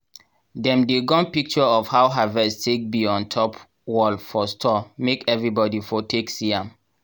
dem dey gum picture of how havest take be on top wall for store make everibodi for take see am.